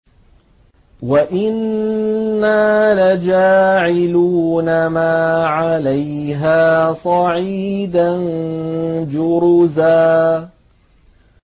وَإِنَّا لَجَاعِلُونَ مَا عَلَيْهَا صَعِيدًا جُرُزًا